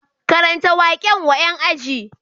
Karanta waƙen wa ƴan aji